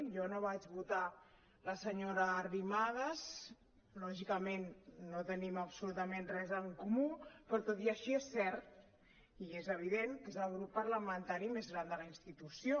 jo no vaig votar la senyora arri·madas lògicament no tenim absolutament res en comú però tot i així és cert i és evident que és el grup parlamentari més gran de la institució